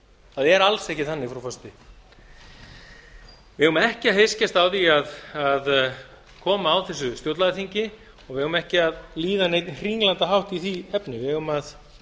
það er alls ekki þannig frú forseti við eigum ekki að heykjast á því að koma á þessu stjórnlagaþingi og við eigum ekki að líða neinn hringlandahátt í því efni við eigum að